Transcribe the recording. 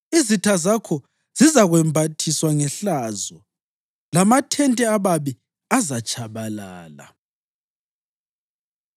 Izitha zakho zizakwembathiswa ngehlazo, lamathente ababi azatshabalala.”